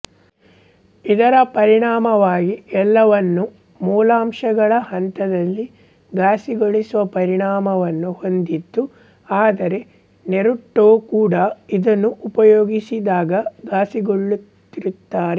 ಇದರ ಪರಿಣಾಮವಾಗಿ ಎಲ್ಲವನ್ನೂ ಮೂಲಾಂಶಗಳ ಹಂತದಲ್ಲಿ ಘಾಸಿಗೊಳಿಸುವ ಪರಿಣಾಮವನ್ನು ಹೊಂದಿದ್ದು ಆದರೆ ನೆರುಟೋ ಕೂಡ ಇದನ್ನು ಉಪಯೋಗಿಸಿದಾಗ ಘಾಸಿಗೊಳ್ಳುತ್ತಿರುತ್ತಾನೆ